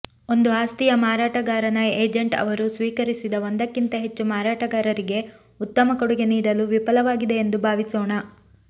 ಒಂದು ಆಸ್ತಿಯ ಮಾರಾಟಗಾರನ ಏಜೆಂಟ್ ಅವರು ಸ್ವೀಕರಿಸಿದ ಒಂದಕ್ಕಿಂತ ಹೆಚ್ಚು ಮಾರಾಟಗಾರರಿಗೆ ಉತ್ತಮ ಕೊಡುಗೆ ನೀಡಲು ವಿಫಲವಾಗಿದೆ ಎಂದು ಭಾವಿಸೋಣ